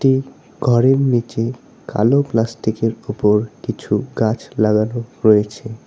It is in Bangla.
এ ঘরের নীচে কালো প্লাস্টিকের ওপরে কিছু গাছ লাগানো রয়েছে।